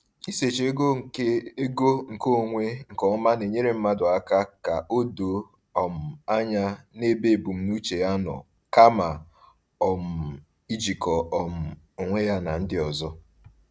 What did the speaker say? Isochi ego nke ego nke onwe nke ọma na-enyere mmadụ ka o doo um anya n’ebe ebumnuche ya nọ, kama um ijikọ um onwe ya na ndị ọzọ.